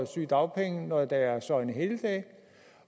sygedagpenge når der er søgnehelligdage